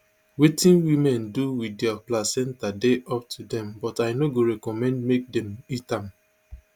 wetin women do wit dia placenta dey up to dem but i no go recommend make dem eat am